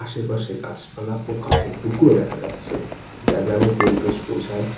আশেপাশে গাছপালা ও কাঠের টুকরো দেখা যাচ্ছে যা গ্রামের পরিবেশ বোঝায়।